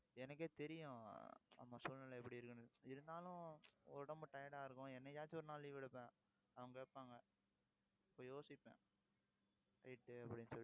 எனக்கே தெரியும் நம்ம சூழ்நிலை எப்படி இருக்குன்னு. இருந்தாலும், உடம்பு tired ஆ இருக்கும் என்னைக்காச்சும் ஒரு நாள் leave எடுப்பேன் அவங்க கேப்பாங்க. அப்ப யோசிப்பேன் right அப்படின்னு சொல்லிட்டு